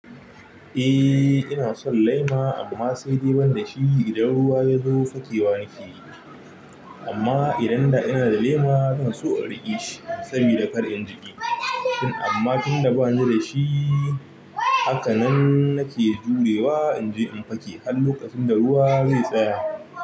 Eh ina son laima amma sai dai ban da shi. Idan ruwa ya zo fakewa nake yi. Amma idan da ina da lema zan so in riƙe shi sabida kar in jiƙe. Tun amma tun da bani da shi haka nan nake jurewa in je in fake har lokacin da ruwa zai tsaya.